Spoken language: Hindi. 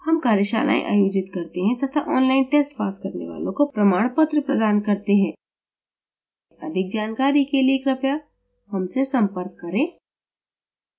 हम कार्यशालाएँ आयोजित करते हैं तथा online tests pass करने वालों को प्रमाणपत्र प्रदान करते हैं अधिक जानकारी के लिए कृपया हमसे संपर्क करें